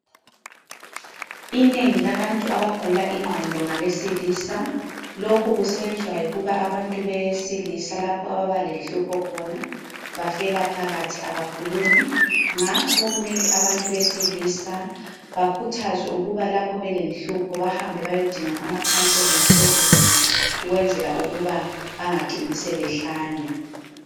Inengi labantu abagula ingqondo ngabesilisa. Lokhu kusenziwa yikuba abantu besilisa lapho ababa lenhlunpho khona bafela phakathi , abakhulumi ngakho kumele abantu besilisa bakhuthazwe ukuba lapho belenhlupho bahambe bayedinga ama counseling services ukwenzela ukuba bangacini sebehlanya.